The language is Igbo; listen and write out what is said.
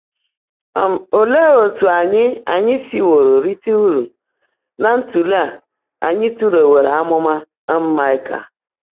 um Óleé ótú ányị́ ányị́ síwóró ríté úrụ́ ná ntụ́lèé á ányị́ tụ́lééwóró ámụ́má um Máịkà?